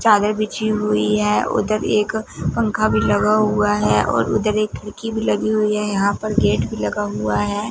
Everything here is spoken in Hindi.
चादर बिछी हुई है उधर एक पंखा भी लगा हुआ है उधर एक खिड़की भी लगी हुई है यहां पर गेट भी लगा हुआ है।